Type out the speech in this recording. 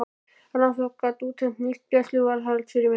Rannsókn gat útheimt nýtt gæsluvarðhald fyrir mig.